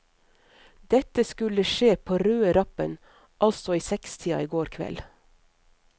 Dette skulle skje på røde rappen, altså i sekstida i går kveld.